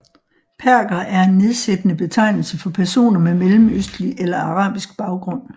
Perker er en nedsættende betegnelse for personer med mellemøstlig eller arabisk baggrund